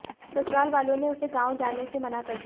ससुरालवालों ने उसे गांव जाने से मना कर दिया